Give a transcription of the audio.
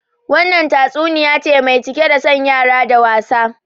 Wannan tatsuniya ce mai cike da son yara da wasa